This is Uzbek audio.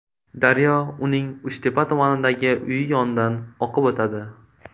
Daryo uning Uchtepa tumanidagi uyi yonidan oqib o‘tadi.